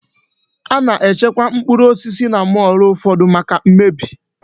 Ana-echekwa mkpụrụ osisi na mọọlụ ụfọdụ maka m mmebi.